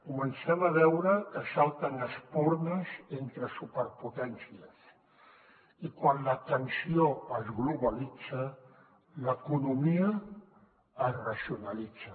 comencem a veure que salten espurnes entre superpotències i quan la tensió es globalitza l’economia es regionalitza